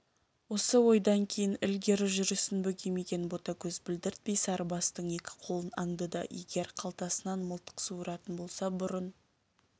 осы ойдан кейін ілігері жүрісін бөгемеген ботагөз білдіртпей сарыбастың екі қолын аңдыды егер қалтасынан мылтық суыратын болса бұрын